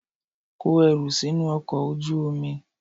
Kó ẹrù sínú ọkọ̀ ojú omi!